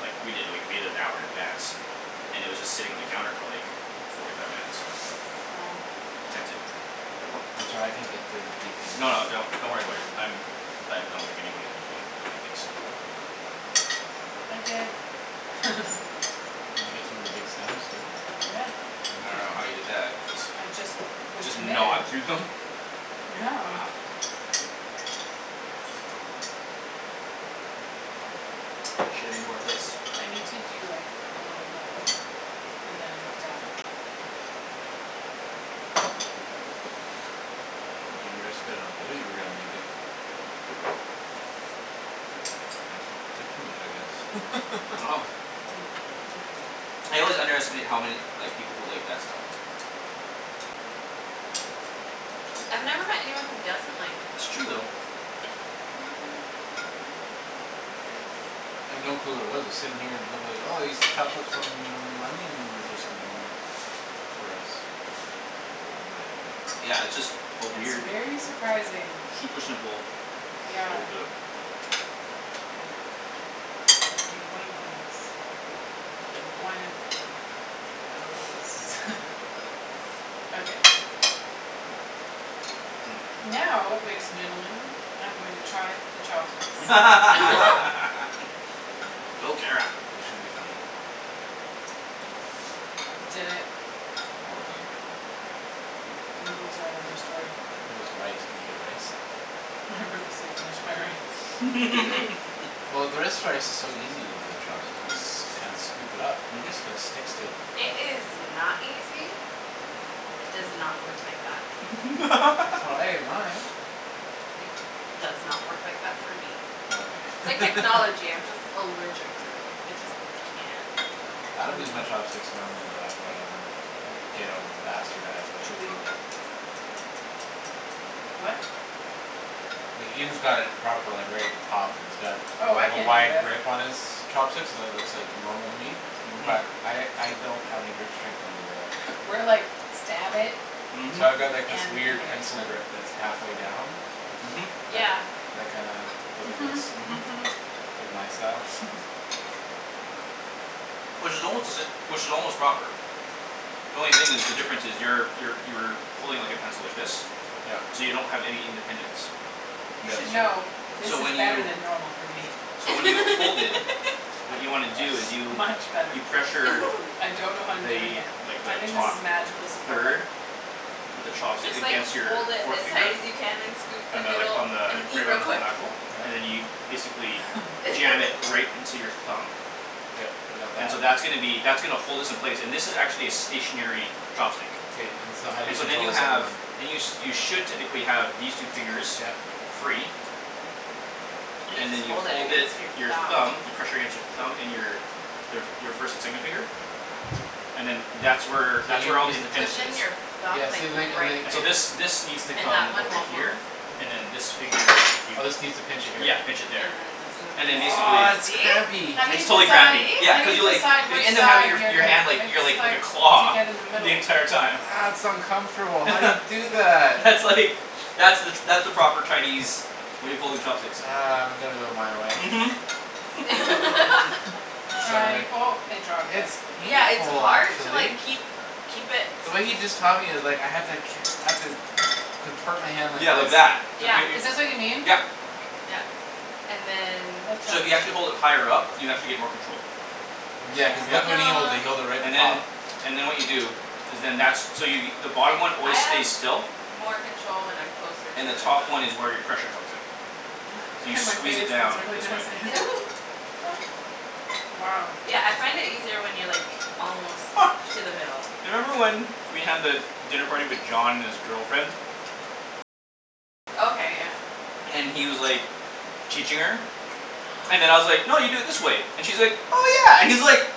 like, we did, like, we made it an hour in advance. And it was just sitting on the counter for, like forty five minutes. Wow. I'm sorry, I can't get through the pea things. No, no, don't, don't worry about it. I'm I don't think anybody's gonna be able to get through the pea tips. I did. Did you get some of the big stems too? Yeah. I don't know how Interesting. you did that cuz I just was Just committed. gnawed through them? Yeah. Wow. Shoulda made more of this. I need to do like a little bit more of this and then I'm done. I think you underestimated how good that you were gonna make it. I took too much, I guess. Wow. I always underestimate how many, like, people who like that stuff. I've never met anyone who doesn't like it It's true though. though. I'd no clue what it was. I was sitting here and it looked like, "Oh, he's chopped up some onions or something for us." Oh, man. Yeah, it's just a It's weird very surprising. Super simple Yeah. so good. Wait. I need one of these and one of those. Okay. Mmm. Now, ladies and gentlemen, I'm going to try the chopsticks. Go, Kara. This should be funny. Did it. All done. Noodles are another story. How's rice? Can you get rice? I purposely finished my rice. Mhm. Well, is so easy to do with chopsticks. You just s- kind of scoop it up and Mhm. it just sticks to It is not easy. It does not work like that. That's how I ate mine. It does not work like that for me. Yeah, It's okay. like technology. I'm just allergic to it. I just can't do it. I don't use Hmm. my chopsticks normally though. I have like my own ghetto bastardized way of Chewy. the What? Like, Ian's got it proper, like, right at the top, and it's got, Oh, I like, a can't do wide that. grip on his chopsticks so that looks like normal to me Mhm. but I, I don't have any grip strength when I do that. We're like, "Stab it. Mhm. So I've got like this and eat weird it." pencil grip that's half way down. Mhm. That, Yeah. that kinda goes like this. Mhm, Mhm. mhm. It's like my style. Which is almost to sa- which is almost proper. The only thing is, the difference is, you're, you're, you're pulling, like, a pencil, like this Yep. so you don't have any independence. You Yeah, should it's true. know, this So when is better you than normal for me. so when you hold it what you wanna do is you Much better. you pressure I don't know how I'm doing it. the, like, I the think this top is magical supporter. third of the You chopstick just, like, against your hold it forth as finger hard as you can and scoop the on the, like, noodle on and the eat right real on the quick. knuckle and then you Yeah. basically jam it right into your thumb. Yep, I got And so that. that's gonna be, that's gonna hold this in place, and this is actually a stationary K- chopstick. k, and so how do you And so then control you the second have one? then you sh- should technically have these two fingers Yep. free. And you and just then you hold it hold against your it, your thumb. thumb, you pressure against your thumb, and your their f- your first and second finger and then that's where So that's where all the Push independence in is. your you thumb, Yeah, like, see, and like, and right like And so this, there. this needs to And that come one over won't move. here, and then this finger, if you Oh, this needs to pinch it here. Yeah, pinch it there. And and then then basically Ah, that's this. crampy. How do you It's totally See? decide, crampy, See? yeah. how do Cuz you you, like, decide you which end up having side your f- you're your gonna, hand like, your, it's like, like a like You take claw it in the middle. the entire Ah, time. that's uncomfortable. How do you do that? That's, like, that's the that's the proper Chinese way of holding chopsticks. Ah, I'm gonna go my way. Mhm. I'm Sorry. trying, oh, it dropped it. It's Yeah, it's painful hard to like actually. keep, keep it The way he just taught me, it's like, I had to ca- I have to con- contort my hand like Yeah, like that. this. Like Yeah. yo- Is this what you yo- mean? yep. Yeah. And then So if you actually hold it higher up, you actually get more control. Yeah, cuz look Yep. when he holds it; No. he holds it right at And the top. then, and then what you do is then, that's, so you the Se- bottom one I always have stays still more control when I'm closer to and the it top one is though. where your pressure comes in. So you squeeze it down this way Wow. Yeah, I find it easier when you're, like almost to the middle. You remember when we had the dinner party with John and his girlfriend? Okay, yeah. And he was, like teaching her and then I was like, "No, you do it this way." And she's like, "Oh, yeah" and he's like